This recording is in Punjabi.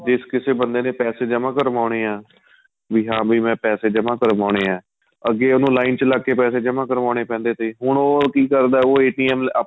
ਜਿਸ ਕਿਸੇ ਬੰਦੇ ਨੇ ਪੈਸੇ ਜਮਾਂ ਕਰਵਾਉਣੇ ਏ ਹਾਂ ਵੀ ਮੈਂ ਪੈਸੇ ਜਮਾਂ ਕਰਵਾਉਣੇ ਏ ਅੱਗੇ ਉਹਨੂੰ ਲਾਈਨ ਵਿੱਚ ਲੱਗਕੇ ਪੈਸੇ ਜਮਾਂ ਕਰਵਾਨੇ ਪੈਂਦੇ ਤੇ ਹੁਣ ਉਹ ਕੀ ਕਰਦਾ ਉਹ